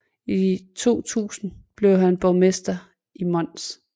I 2000 blev han borgmester i Mons